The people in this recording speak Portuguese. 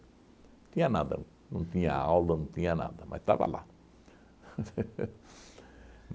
tinha nada, não tinha aula, não tinha nada, mas estava lá